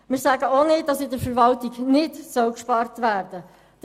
Wir sagen auch nicht, dass in der Verwaltung nicht gespart werden soll.